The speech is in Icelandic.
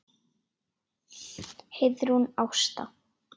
Heiðrún Ásta.